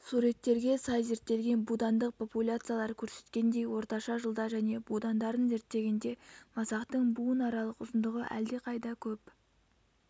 суреттерге сай зерттелген будандық популяциялар көрсеткендей орташа жылда және будандарын зерттегенде масақтың буынаралық ұзындығы әлдеқайда көп